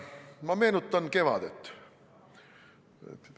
Ma meenutan kevadet.